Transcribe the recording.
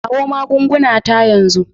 Kawo magunguna ta yanzu.